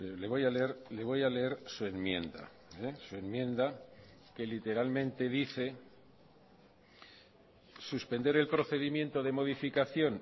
le voy a leer le voy a leer su enmienda su enmienda que literalmente dice suspender el procedimiento de modificación